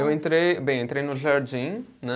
Eu entrei, bem, entrei no jardim, né?